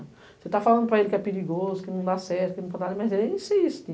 Você está falando para ele que é perigoso, que não dá certo, mas ele insiste.